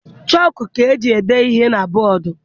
Chọọkụ ka eji ede ihe na bọọdụ.